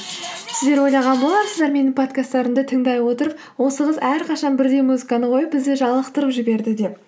сіздер ойлаған боларсыздар менің подкасттарымды тыңдай отырып осы қыз әрқашан бірдей музыканы қойып бізді жалықтырып жіберді деп